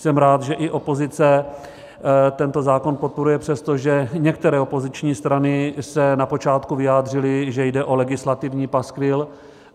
Jsem rád, že i opozice tento zákon podporuje, přestože některé opoziční strany se na počátku vyjádřily, že jde o legislativní paskvil,